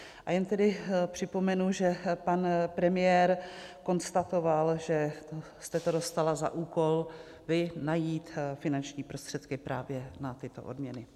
A jen tedy připomenu, že pan premiér konstatoval, že jste to dostala za úkol vy, najít finanční prostředky právě na tyto odměny.